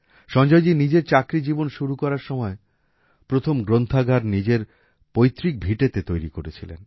সঞ্জয়জী নিজের চাকরি জীবন শুরু করার সময় প্রথম গ্রন্থাগার নিজের পৈতৃক ভিটেতে তৈরি করেছিলেন